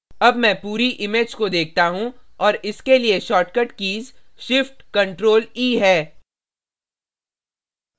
अब मैं पूरी image को देखता हूँ और इसके लिए shortcut keys shift + ctrl + e है